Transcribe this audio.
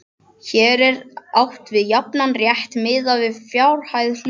Hér er átt við jafnan rétt miðað við fjárhæð hluta.